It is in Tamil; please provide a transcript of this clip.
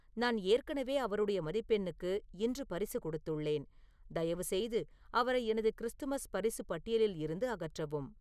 நான் ஏற்கனவே அவருடைய மதிப்பெண்க்கு இன்று பரிசு கொடுத்துள்ளேன் தயவுசெய்து அவரை எனது கிறிஸ்துமஸ் பரிசு பட்டியலில் இருந்து அகற்றவும்